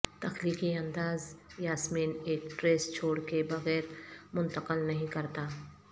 تخلیقی انداز یاسمین ایک ٹریس چھوڑ کے بغیر منتقل نہیں کرتا